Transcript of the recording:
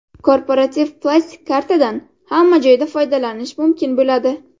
Korporativ plastik kartadan hamma joyda foydalanish mumkin bo‘ladi.